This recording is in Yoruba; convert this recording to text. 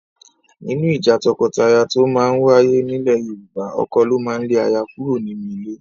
Nínú ìjà tọkọtaya tó máa ń wáyé nílẹ̀ Yorùbá, ọkọ ló máa ń lé aya kúrò nínú ilé